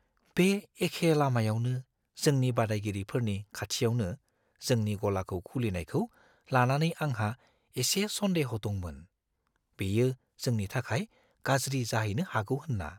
बे एखे लामायावनो जोंनि बादायगिरिफोरनि खाथियावनो जोंनि गलाखौ खुलिनायखौ लानानै आंहा एसे सन्देह' दंमोन, बेयो जोंनि थाखाय गाज्रि जाहैनो हागौ होनना।